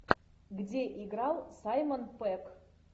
где играл саймон пегг